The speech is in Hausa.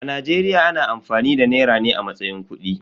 A Najeriya ana amfani da nera ne a matsayin kudi.